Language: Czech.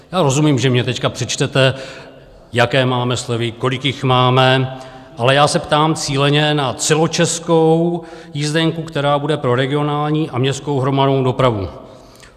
Já rozumím, že mně teď přečtete, jaké máme slevy, kolik jich máme, ale já se ptám cíleně na celočeskou jízdenku, která bude pro regionální a městskou hromadnou dopravu.